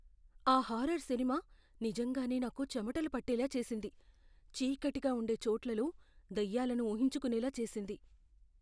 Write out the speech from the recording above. ఆ హారర్ సినిమా నిజంగానే నాకు చెమటలు పట్టేలా చేసింది, చీకటిగా ఉండే చోట్లలో దయ్యాలను ఊహించుకునేలా చేసింది.